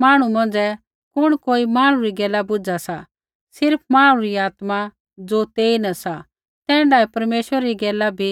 मांहणु मौंझ़ै कुण कोई मांहणु री गैला बुझा सा सिर्फ़ मांहणु री आत्मा ज़ो तेईन सा तैण्ढै ही परमेश्वरै री गैला भी